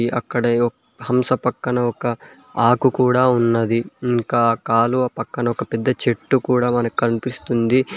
అక్కడే ఒ హంస పక్కన ఒక ఆకు కూడా ఉన్నది ఇంకా ఆ కాలువ పక్కన ఒక పెద్ద చెట్టు కూడా మనకు కనిపిస్తుంది.